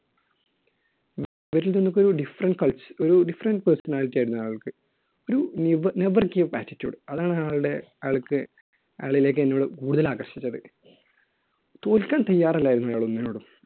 ഇവരിൽ നിന്നൊക്കെ ഒരു different ~cul, different personality ആയിരുന്നു അയാൾക്ക്. ഒരു നെവ്~ never give up attittude. അതാണ് അയാളുടെ, അയാൾക്ക് അയാളിലേക്ക് എന്നെ കൂടുതൽ ആകർഷിച്ചത്. തോൽക്കാൻ തയാറല്ലായിരുന്നു അയാൾ ഒന്നിനോടും.